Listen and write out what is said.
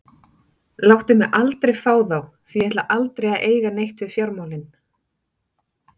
Láttu mig aldrei fá þá því að ég ætla aldrei að eiga neitt við fjármálin.